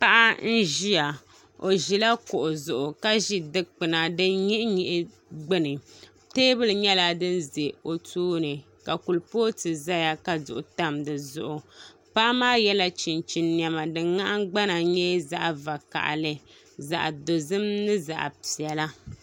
Paɣa n ʒiya o ʒila kuɣu zuɣu ka ʒi dikpuna din nyihi nyihi gbuni teebuli nyɛla din ʒɛ o tooni ka kuripooti ʒɛya ka duɣu tam di zuɣu paɣa maa yɛla chinchin niɛma din nahangbana nyɛ zaɣ vakaɣali zaɣ dozim ni zaɣ piɛla